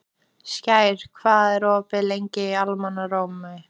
Skær, hvað er opið lengi í Almannaróm?